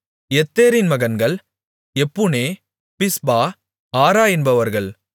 யெத்தேரின் மகன்கள் எப்புனே பிஸ்பா ஆரா என்பவர்கள்